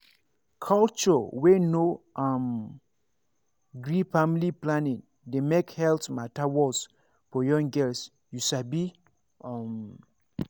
culture wey no um gree family planning dey make health matter worse for young girls you sabi um